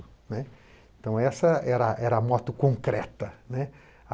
Né? Então essa era era a moto concreta, né,